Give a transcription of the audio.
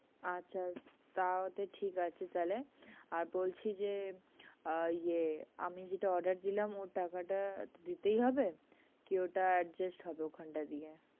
আচ্ছা, তাহলে ঠিক আছে তাহলে আর বলছি যে, আহ ইয়ে আমি যেটা order দিলাম ওই টাকাটা তো দিতেই হবে কি ওটা adjust হবে ওখানটা দিয়ে?